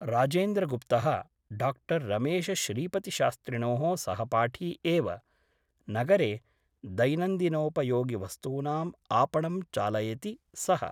राजेन्द्रगुप्तः डा रमेश श्रीपतिशास्त्रिणोः सहपाठी एव । नगरे दैनन्दिनोप योगिवस्तूनाम् आपणं चालयति सः ।